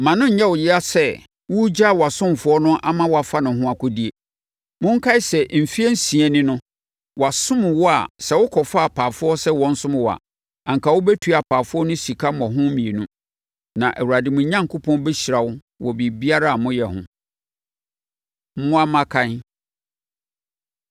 Mma no nyɛ wo ya sɛ woregyaa wʼasomfoɔ no ama wɔafa wɔn ho akɔdie. Monkae sɛ, mfeɛ nsia ni no, wɔasom wo a sɛ wokɔfaa apaafoɔ sɛ wɔnsom wo a, anka wobɛtua apaafoɔ no sika mmɔho mmienu, na Awurade mo Onyankopɔn bɛhyira mo wɔ biribiara a moyɛ ho. Mmoa Mmakan